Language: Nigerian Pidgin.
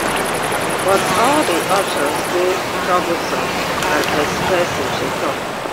but all di options dey troublesome and expensive she tok